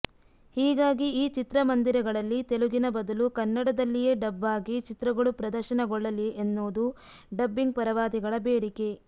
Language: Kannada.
ಹೀಗಾಗಿ ಈ ಚಿತ್ರಮಂದಿರಗಳಲ್ಲಿ ತೆಲುಗಿನ ಬದಲು ಕನ್ನಡದಲ್ಲಿಯೇ ಡಬ್ ಆಗಿ ಚಿತ್ರಗಳು ಪ್ರದರ್ಶನಗೊಳ್ಳಲಿ ಎನ್ನುವುದು ಡಬ್ಬಿಂಗ್ ಪರವಾದಿಗಳ ಬೇಡಿಕೆ